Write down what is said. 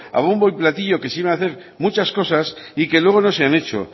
a bombo y platillo quisieron hacer muchas cosas y que luego no se han hecho